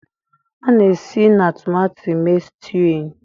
A na-esi na tomato mee stewing